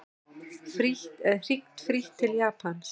Hringt frítt til Japans